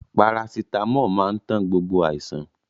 Parasitámọ̀ máa ń tán gbogbo àìsàn.